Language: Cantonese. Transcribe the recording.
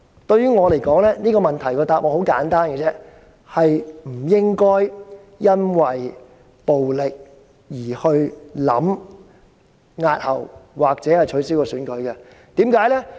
對我而言，這個問題的答案很簡單，就是不應因暴力威脅而考慮押後或取消選舉。